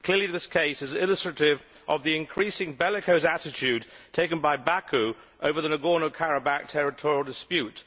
Clearly this case is illustrative of the increasingly bellicose attitude taken by Baku over the Nagorno Karabakh territorial dispute.